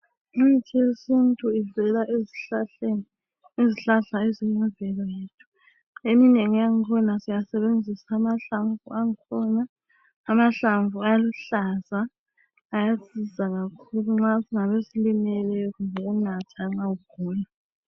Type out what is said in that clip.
Imithi yesintu ivela ezihlahleni. Izihlahla eziyimvelo yethu. Eminengi yakhona, siyasebenzisa amahlamvu ankhona. Amahlamvu aluhlaza. Ayasiza kakhulu, nxa kungabe silimele. Kumbe ukunatha nxa ugula.